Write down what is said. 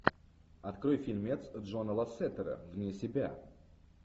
открой фильмец джона лассетера вне себя